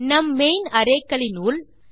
நம் main array க்களின் உள்